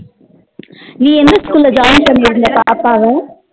நீ எந்த school join பண்ணியுருந்த பாப்பாவா